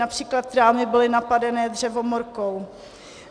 Například trámy byly napadené dřevomorkou.